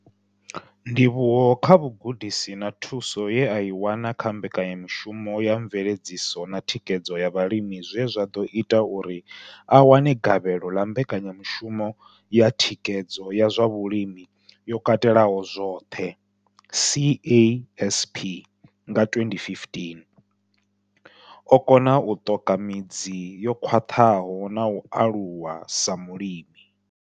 Ndivhuwo kha vhugudisi na thuso ye a i wana kha Mbekanya mushumo ya Mveledziso na Thikhedzo ya Vhalimi zwe zwa ḓo ita uri a wane gavhelo ḽa Mbekanya mushumo ya Thikhedzo ya zwa Vhulimi yo Katelaho zwoṱhe, CASP, nga 2015, o kona u ṱoka midzi yo khwaṱhaho na u aluwa sa mulimi.